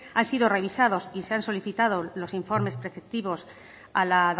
han sido revisados y se han solicitado los informes preceptivos a la